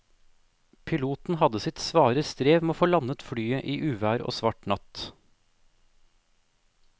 Piloten hadde sitt svare strev med å få landet flyet i uvær og svart natt.